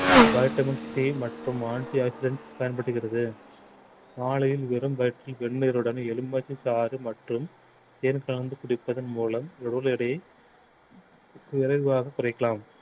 vitamin c மற்றும் antioxidants பயன்படுகிறது காலையில் வெறும் வயிற்றில் வெந்நீருடன் எலுமிச்சைச்சாறு மற்றும் தேன் கலந்து குடிப்பதன் மூலம் உடல் எடையை விரைவாக குறைக்கலாம்